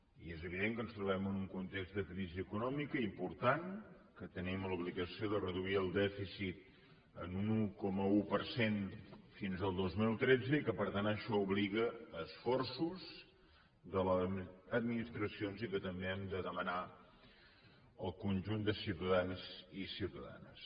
i és evident que ens trobem en un context de crisi econòmica important que tenim l’obligació de reduir el dèficit en un un coma un per cent fins al dos mil tretze i que per tant això obliga a esforços de les administracions i que també hem de demanar al conjunt de ciutadans i ciutadanes